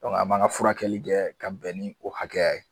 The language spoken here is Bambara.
an m'an ka furakɛli kɛ ka bɛn ni o hakɛya ye